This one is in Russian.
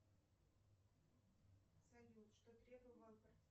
салют что требовал